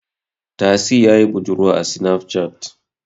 Tasi ya yi budurwa a sinaf cat